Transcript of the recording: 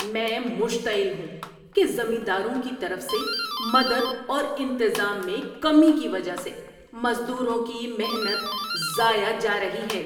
میں مشتعل ہوں کہ زمینداروں کی طرف سے مدد اور انتظام میں کمی کی وجہ سے مزدوروں کی محنت ضائع جا رہی ہے۔